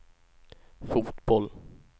fotboll